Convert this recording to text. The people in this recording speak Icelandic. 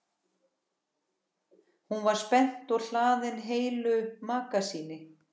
Hún var spennt og hlaðin heilu magasíni.